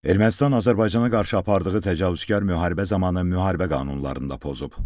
Ermənistan Azərbaycana qarşı apardığı təcavüzkar müharibə zamanı müharibə qanunlarını da pozub.